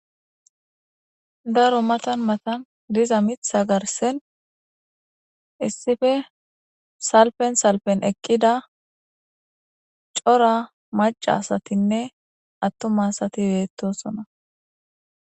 Daro matan matan diza mitha garsen issife salpen salpen eqqida cora maca asatinne attuma asati beettosona.